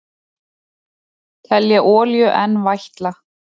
Telja olíu enn vætla